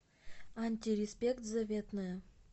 антиреспект заветная